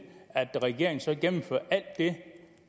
at regeringen så gennemfører alt det